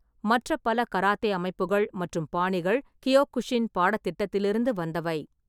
மற்ற பல கராத்தே அமைப்புகள் மற்றும் பாணிகள் கியோகுஷின் பாடத்திட்டத்திலிருந்து வந்தவை.